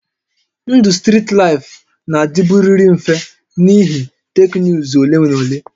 Ndụ strit laịfụ na-adịburịrị mfe n'ihi teknụzụ ole na ole